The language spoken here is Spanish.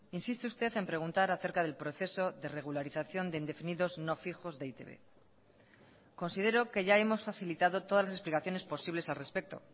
insiste usted en preguntar acerca del proceso de regularización de indefinidos no fijos de e i te be considero que ya hemos facilitado todas las explicaciones posibles al respecto